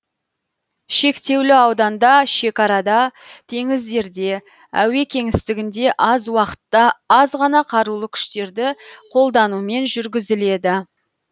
шектеулі ауданда шекарада теңіздерде әуе кеңістігінде аз уақытта аз ғана қарулы күштерді қолданумен жұргізіледі